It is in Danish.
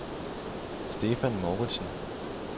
Stephan Mouridsen